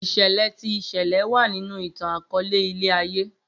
Iṣẹlẹ ti ìṣẹlẹ wa ninu itan-akọọlẹ ilẹ-aye.